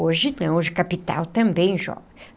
Hoje não, hoje capital também joga.